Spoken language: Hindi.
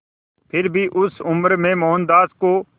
फिर भी उस उम्र में मोहनदास को